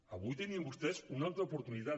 avui tenien vostès una altra oportunitat